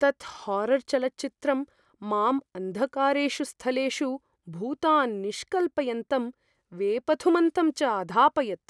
तत् हारर् चलच्चित्रं माम् अन्धकारेषु स्थलेषु भूतान् निष्कल्पयन्तं वेपथुमन्तं च आधापयत्।